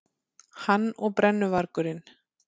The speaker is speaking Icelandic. Hann og brennuvargurinn.